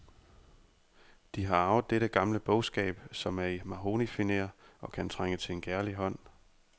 De har arvet dette gamle bogskab, som er i mahognifinér og kan trænge til en kærlig hånd.